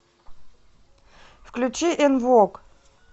включи эн вог